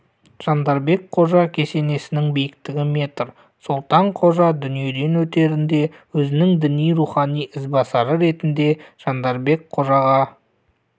жандарбек қожа кесенесінің биіктігі метр солтан қожа дүниеден өтерінде өзінің діни-рухани ізбасары ретінде жандарбек қожаға